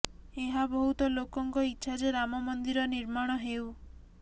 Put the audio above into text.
ଏହା ବଦୁତ ଲୋକଙ୍କ ଇଚ୍ଛା ଯେ ରାମ ମନ୍ଦିର ନିର୍ମାଣ ହେଉ